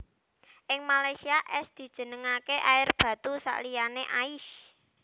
Ing Malaysia es dijenengake air batu sakliyané ais